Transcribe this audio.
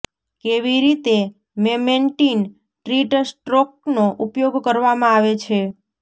કેવી રીતે memantine treat સ્ટ્રોકનો ઉપયોગ કરવામાં આવે છે